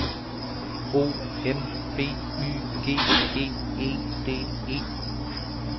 O M B Y G G E D E